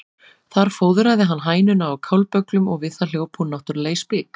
Þar fóðraði hann hænuna á kálbögglum og við það hljóp hún náttúrlega í spik.